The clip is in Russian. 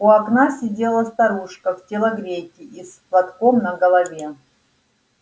у окна сидела старушка в телогрейке и с платком на голове